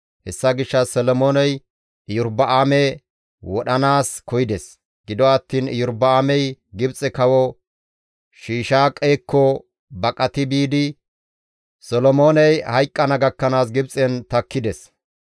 Hessa gishshas Solomooney Iyorba7aame wodhanaas koyides; gido attiin Iyorba7aamey Gibxe Kawo Shiishaaqekko baqati biidi Solomooney hayqqana gakkanaas Gibxen takkides.